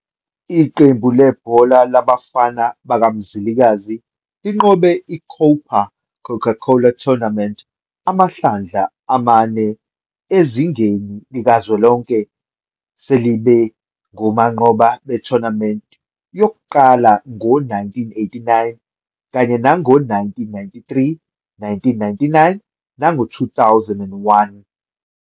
Iqembu lebhola labafana bakaMzilikazi linqobe i-COPA Coca-Cola Tournament amahlandla amane ezingeni likazwelonke, selibe ngabanqobi be-Tournament yokuqala ngo-1989 kanye nango-1993, 1999, nango-2001.